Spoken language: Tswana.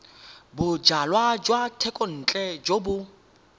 bojalwa jwa thekontle jo bo